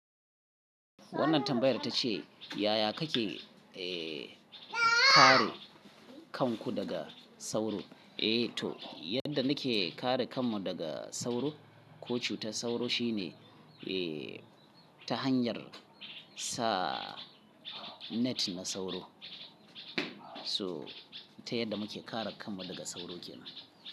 Wannan tambayar ta ce, yaya kake, eh, kare kanku daga sauro? Eh to, yadda nake kare kanmu daga sauro ko cutar sauro shine, eh, ta hanyar sa net na sauro. So, ta yadda muke kare kanmu daga sauro kenan.